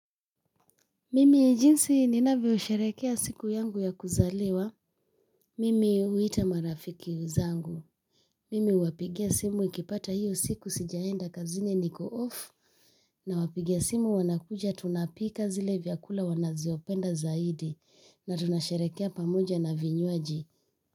Mimi jinsi ninavyosherekea siku yangu ya kuzaliwa. Mimi huita marafiki zangu. Mimi huwapigia simu nikipata hiyo siku sijaenda kazini niko off. Nawapigia simu wanakuja tunapika zile vyakula wanazopenda zaidi. Na tunasherekea pamoja na vinywaji.